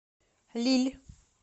лилль